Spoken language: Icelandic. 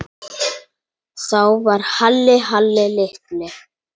Þá var Halli Halli litli.